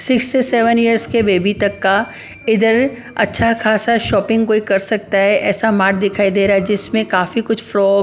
six से seven years के baby तक का इधर अच्छा खासा शॉपिंग कोई कर सकता है ऐसा मार्ट दिखाई दे रहा है जिसमें काफी कुछ फ्रॉ --